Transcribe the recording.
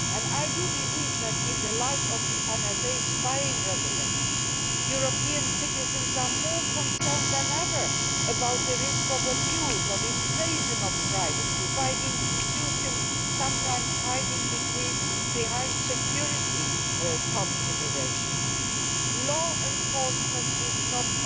I believe that, in light of the NSA spying revelations, European citizens are more concerned than ever about the risk of abuse and the invasion of privacy, by institutions sometimes hiding behind security considerations. Law enforcement is not